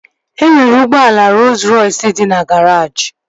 E nwere ụgbọala Rooz Rọys dị na garaajị